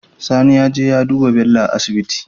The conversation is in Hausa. Sani zeje ya duba Bello a asibiti